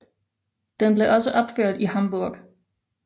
Den blev også opført i Hamburg